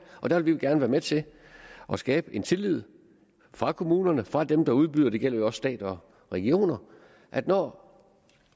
og der vil vi gerne være med til at skabe den tillid fra kommunerne fra dem der udbyder det gælder jo også stat og regioner at når